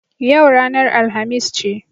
Yau ranar Alhamis ce.